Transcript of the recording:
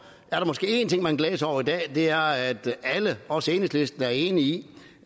er der måske én ting man kan glæde sig over i dag og det er at alle også enhedslisten er enige i